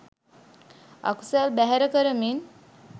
අකුසල් බැහැර කරමින්